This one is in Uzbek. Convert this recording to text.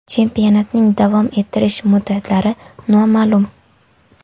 Chempionatning davom ettirish muddatlari noma’lum.